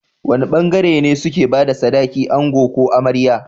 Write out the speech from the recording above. Wane bangare ne suke bada sadaki ango ko amarya?